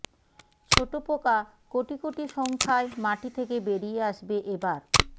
ছোট পোকা কোটি কোটি সংখ্যায় মাটি থেকে বেরিয়ে আসবে এবার